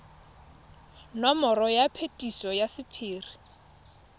nomoro ya phetiso ya sephiri